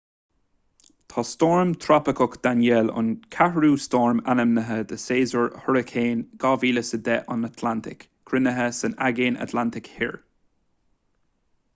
tá stoirm trópaiceach danielle an ceathrú stoirm ainmnithe de shéasúr hairicín 2010 an atlantaigh cruinnithe san aigéan atlantach thoir